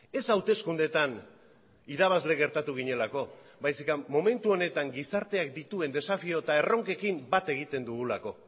ez hauteskundeetan irabazle gertatu ginelako baizik eta momentu honetan gizarteak dituen desafio eta erronkekin bat egiten dugulako